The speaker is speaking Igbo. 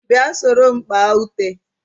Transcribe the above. Bia soro m kpá ute